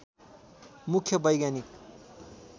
मुख्य वैज्ञानिक